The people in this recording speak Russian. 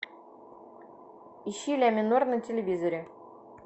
ищи ля минор на телевизоре